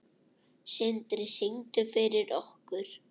Sindri: Syngdu fyrir okkur?